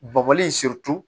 Bɔbɔli in